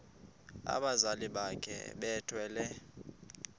abazali bakhe bethwele